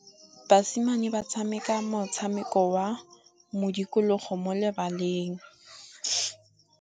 Basimane ba tshameka motshameko wa modikologô mo lebaleng.